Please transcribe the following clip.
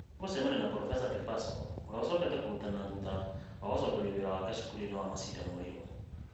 Nĩ egũcemania na Probeca Kubasu ũrĩa ũcokete kũrutana thutha wa gũcokerio wĩra wake cukuru-inĩ wa Masinde Muliro.